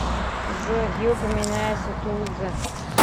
джой где упоминается тулуза